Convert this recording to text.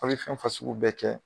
A' be fɛn fasugu bɛɛ kɛ